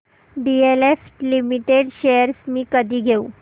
DLF limited shares मी कधी घेऊ